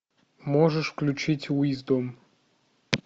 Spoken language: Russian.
можешь включить уиздом